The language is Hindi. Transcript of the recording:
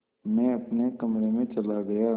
मैं अपने कमरे में चला गया